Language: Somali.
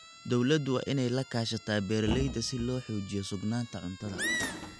Dawladdu waa inay la kaashataa beeralayda si loo xoojiyo sugnaanta cuntada.